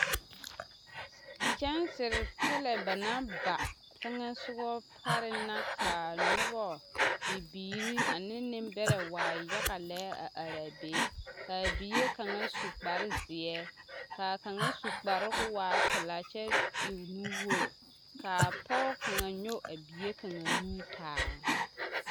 Kyɛnsiri pɛlɛ ba naŋ ba teŋɛ sogaŋ pareŋ la ka noba bibiiri ane nembɛrɛ waa yaga lɛ a are a be ka a bie kaŋa su kparezeɛ ka a kaŋa su kparoŋ ka o waa pelaa kyɛ e nuwogre ka a pɔge kaŋa nyɔge a bie kaŋa nu taa.